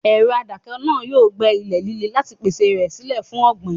Ẹ̀rọ adáko náà yóò gbẹ́ ilẹ̀ líle láti pèsè rẹ̀ sílẹ̀ fún ọ̀gbìn.